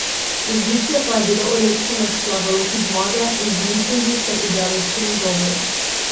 Vzdušje pa je bilo olepšano s slavoloki zmage in z mitingi ter ideološkimi govori.